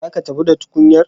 Za ki tafi da tukunyar?